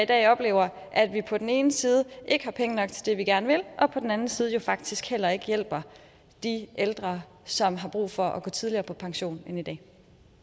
dag oplever jeg at vi på den ene side ikke har penge nok til det vi gerne vil og på den ene side faktisk heller ikke hjælper de ældre som har brug for at gå tidligere på pension kan i dag